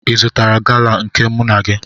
Ị zụtara gala nke mụ na gị?